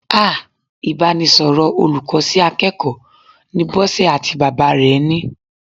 Ah! Ìbánisọ̀rọ̀ olùkọ́ sí akẹ́kọ̀ọ́ ni Bọ́sẹ̀ àti bàbá rẹ̀ ni.